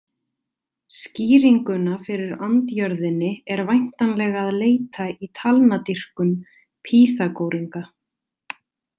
Skýringuna fyrir andjörðinni er væntanlega að leita í talnadýrkun Pýþagóringa.